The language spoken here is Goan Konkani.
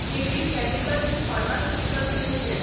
J B chemicals pharmaceuticals limited